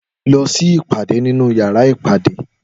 Lọ sí ìpàdé nínú yàrá ìpàdé